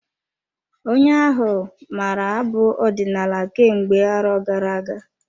Onye ahụ maara abụ ọdinala kemgbe arọ gara-aga.